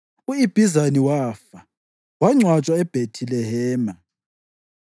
U-Ibhizani wafa, wangcwatshwa eBhethilehema.